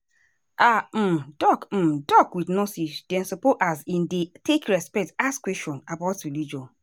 ah um doc um doc with nurse dem supposeas in dey take respect ask questions about religion.